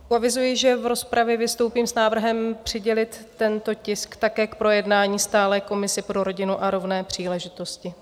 Avizuji, že v rozpravě vystoupím s návrhem přidělit tento tisk také k projednání stálé komisi pro rodinu a rovné příležitosti.